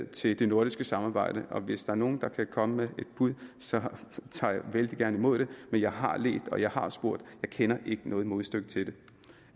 til det nordiske samarbejde og hvis der er nogen der kan komme med et bud så tager jeg vældig gerne imod det men jeg har ledt og jeg har spurgt jeg kender ikke noget modstykke til det